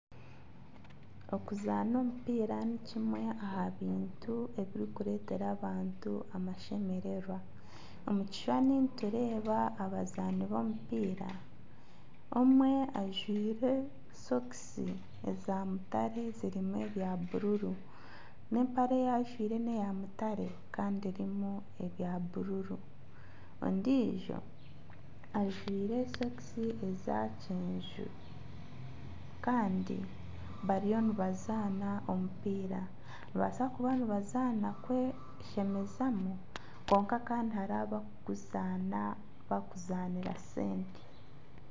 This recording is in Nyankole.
Okuzaana omupiira ni kimwe aha bintu ebirikureetera abantu amashemererwa. Omu kishushani nitureeba abazaani b'omupiira omwe ajwaire sokisi eza mutare zirimu ebya buruuru n'empare eyajwaire neya mutare kandi erimu ebya buruuru, ondijo ajwaire sokisi eza kyenju kandi bariyo nibazaana omupiira nibabaasa kuba nibazaana kweshemezamu kwonka kandi hariho abakuguzaana barikuzaanira sente.